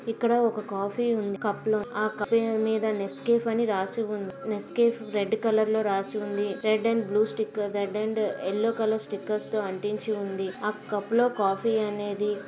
ఇక్కడ ఒక కాఫీ ఉంది కప్ లో. ఆ కప్ మీద నెస్కేఫ్ అని రాసి ఉంది. నెస్కేఫ్ రెడ్ కలర్ లో రాసి ఉంది. Red and blue colour sticker red and yellow colour stickers అంటించి ఉంది. ఆ కప్ లో కాఫీ అనేది --